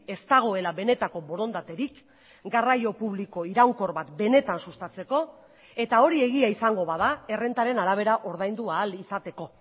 ez dagoela benetako borondaterik garraio publiko iraunkor bat benetan sustatzeko eta hori egia izango bada errentaren arabera ordaindu ahal izateko